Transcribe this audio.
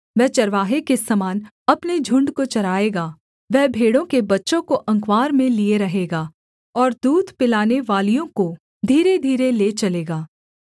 वह चरवाहे के समान अपने झुण्ड को चराएगा वह भेड़ों के बच्चों को अँकवार में लिए रहेगा और दूध पिलानेवालियों को धीरे धीरे ले चलेगा